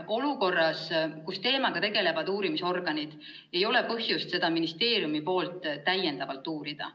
Olukorras, kus teemaga tegelevad uurimisorganid, ei ole ministeeriumil põhjust seda rohkem uurida.